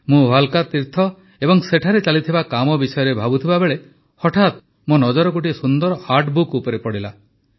ମୁଁ ଭାଲ୍କା ତୀର୍ଥ ଏବଂ ସେଠାରେ ଚାଲିଥିବା କାମ ବିଷୟରେ ଭାବୁଥିବା ବେଳେ ହଠାତ ମୋ ନଜର ଗୋଟିଏ ସୁନ୍ଦର ଆର୍ଟ ବୁକ୍ ଉପରେ ପଡ଼ିଲା